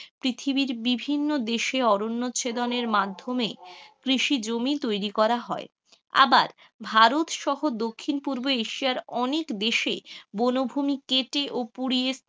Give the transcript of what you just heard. পৃথিবীর বিভিন্ন দেশে অরণ্য ছেদনের মাধ্যমে কৃষি জমি তৈরি করা হয়, আবার ভারত সহ দক্ষিণ পুর্ব এশিয়ার অনেক দেশে বনভূমি কেটে ও পুড়িয়ে,